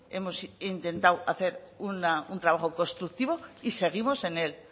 hemos intentado hacer un trabajo constructivo y seguimos en él